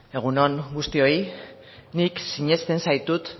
egun on guztioi nik sinesten zaitut